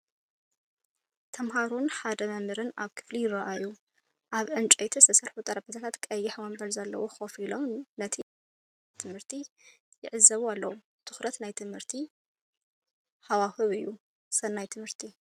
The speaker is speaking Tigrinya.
ተምሃሮን ሓደ መምህርን ኣብ ክፍሊ ይረኣዩ። ኣብ ዕንጨይቲ ዝተሰርሑ ጠረጴዛታት ቀይሕ መንበር ዘለዎም ኮፍ ኢሎም ነቲ ኣብ ቅድሚኦም ዝቐርብ ኣቀራርባ ትምህርቲ ይዕዘቡ ኣለዉ። ትኩር ናይ ትምህርቲ ሃዋህው እዩ። ሰናይ ትምህርቲ!